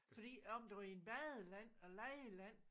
Fordi om du i en badeland og legeland